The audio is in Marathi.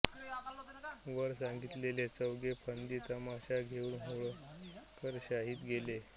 वर सांगितलेले चौघे फंदी तमाशा घेऊन होळकरशाहीत गेले